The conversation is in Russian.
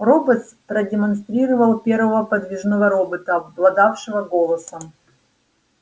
роботс продемонстрировал первого подвижного робота обладавшего голосом